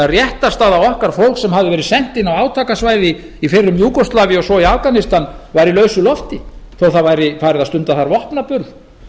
réttarstaða okkar fólks sem hafði verið sent inn á átakasvæði í fyrrum júgóslavíu og svo í afganistan var í lausu lofti þó að það væri farið að stunda þar vopnaburð